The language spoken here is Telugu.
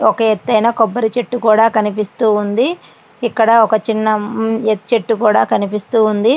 ఒక ఎత్తైన కొబ్బరి చెట్టు కూడా కనిపిస్తూ వుంది ఇక్కడ ఒక చిన్న చెట్టు కూడా కనిపిస్తూ వుంది.